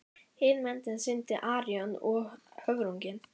Hin myndin sýndi Arion og höfrunginn.